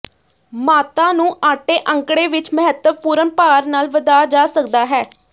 ਮਾਤਾ ਨੂੰ ਆਟੇ ਅੰਕੜੇ ਵਿੱਚ ਮਹੱਤਵਪੂਰਨ ਭਾਰ ਨਾਲ ਵਧਾ ਜਾ ਸਕਦਾ ਹੈ